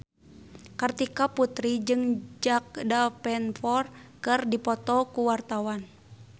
Kartika Putri jeung Jack Davenport keur dipoto ku wartawan